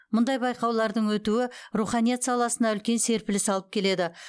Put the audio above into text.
мұндай байқаулардың өтуі руханият саласына үлкен серпіліс алып келеді